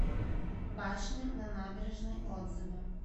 башня на набережной отзывы